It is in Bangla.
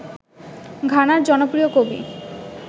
ঘানার জনপ্রিয় কবি